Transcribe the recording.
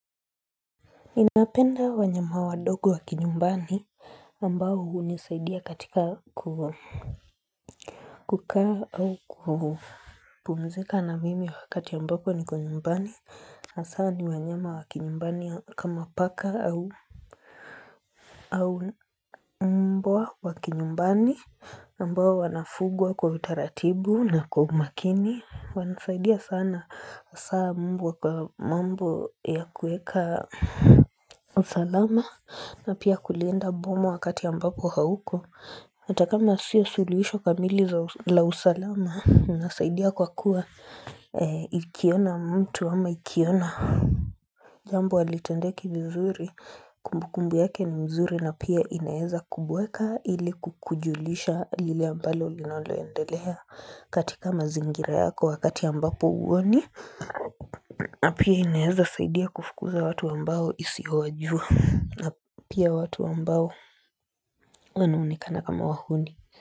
Ninapenda wanyama wadogo wa kinyumbani ambao hunisaidia katika kukaa au kupumzika na mimi wakati ambapo niko nyumbani na saa ni wanyama wa kinyumbani kama paka au mbwa wa kinyumbani mbwa wanafugwa kwa utaratibu na kwa umakini Wanasaidia sana hasa mbwa kwa mambo yakuweka usalama na pia kulinda boma wakati ambapo hauko hatakama sio suluhisho kamili za usalama inasaidia kwa kuwa ikiona mtu ama ikiona Jambo halitendeki vizuri kumbukumbu yake ni mzuri na pia inaweza kubweka ili kukujulisha lile ambalo linoloendelea katika mazingira yako wakati ambapo huoni na pia inaweza saidia kufukuza watu ambao isiowajua na pia watu ambao wanaonekana kama wahuni.